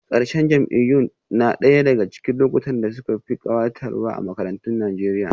Ƙarshen jam'iyyun na ɗaya daga cikin lokutan da suka fi kayatarwa a makarantun Najeriya